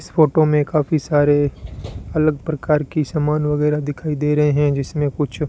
इस फोटो में काफी सारे अलग प्रकार की सामान वगैरा दिखाई दे रहे हैं जिसमें कुछ--